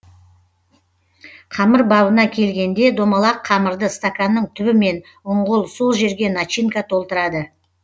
қамыр бабына келгенде домалақ қамырды стаканның түбімен ұңғыл сол жерге начинка толтырады